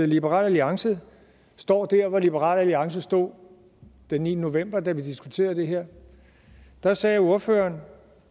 liberal alliance står der hvor liberal alliance stod den niende november da vi diskuterede det her da sagde ordføreren